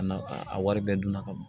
A na a wari bɛɛ dun na ka ban